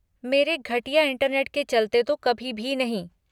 मेरे घटिया इंटरनेट के चलते तो कभी भी नहीं।